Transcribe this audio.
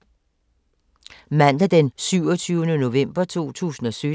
Mandag d. 27. november 2017